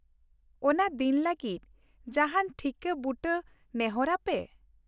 ᱚᱱᱟ ᱫᱤᱱ ᱞᱟᱹᱜᱤᱫ ᱡᱟᱦᱟᱱ ᱴᱷᱤᱠᱟᱹ ᱵᱩᱴᱟᱹ ᱱᱮᱦᱚᱨ ᱟᱯᱮ ?